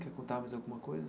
Quer contar mais alguma coisa?